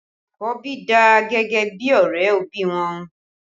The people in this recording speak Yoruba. Àkọ́bí dà gẹ́gẹ́ bí ọrẹ òbí wọn